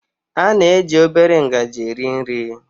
A na-eji obere ngaji eri nri